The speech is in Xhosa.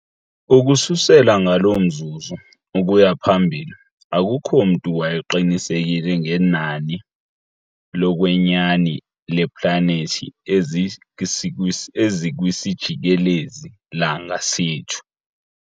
Ukususela ngaloo mzuzu ukuya phambili, akukho mntu wayeqinisekile ngenani lokwenyani leeplanethi ezikwisijikelezi-langa sethu.